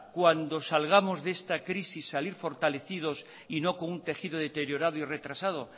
cuando salgamos de esta crisis salir fortalecidos y no con un tejido deteriorado y retrasado